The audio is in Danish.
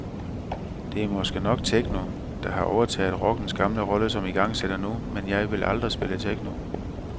Det er måske nok techno, der har overtaget rockens gamle rolle som igangsætter nu, men jeg ville aldrig spille techno.